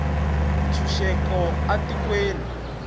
ntshunxeko a tikweni